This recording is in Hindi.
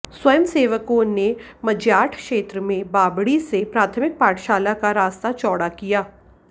स्वयं सेवकों ने मज्याठ क्षेत्र में बाबड़ी से प्राथमिक पाठशाला का रास्ता चौड़ा किया